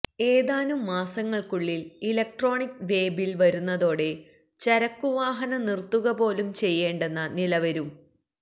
ഏതാനും മാസങ്ങൾക്കുള്ളിൽ electronic way bill വരുന്നതോടെ ചരക്കുവാഹനം നിർത്തുകപോലും ചെയ്യേണ്ടെന്ന നിലവരും